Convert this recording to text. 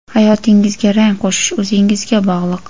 Hayotingizga rang qo‘shish o‘zingizga bog‘liq.